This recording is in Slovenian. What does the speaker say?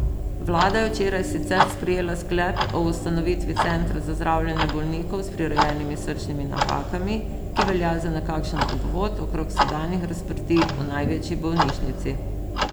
Vlada je včeraj sicer sprejela sklep o ustanovitvi centra za zdravljenje bolnikov s prirojenimi srčnimi napakami, ki velja za nekakšen obvod okrog sedanjih razprtij v največji bolnišnici.